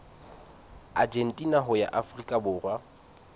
argentina ho ya afrika borwa